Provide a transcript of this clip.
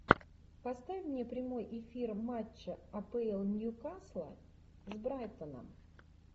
поставь мне прямой эфир матча апл ньюкасла с брайтоном